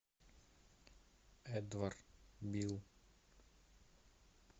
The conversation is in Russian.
эдвард бил